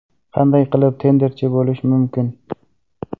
Qanday qilib tenderchi bo‘lish mumkin?